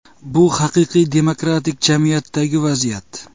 Bu haqiqiy demokratik jamiyatdagi vaziyat.